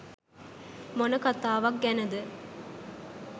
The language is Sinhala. මොන කතාවක් ගැනද